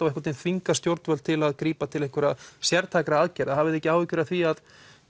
einhvern veginn þvingað stjórnvöld til að grípa til einhverra sértækra aðgerða hafiði ekki áhyggjur af því að